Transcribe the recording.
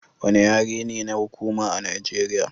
Wanne yare ne na hukuma a Nageriya.